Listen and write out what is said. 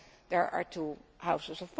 there are two houses